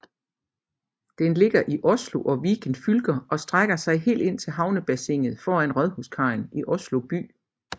Den ligger i Oslo og Viken fylker og strækker sig helt ind til havnebassinet foran Rådhuskajen i Oslo by